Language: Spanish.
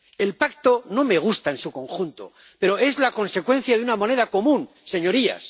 El Pacto no me gusta en su conjunto, pero es la consecuencia de una moneda común, señorías.